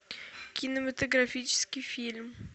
кинематографический фильм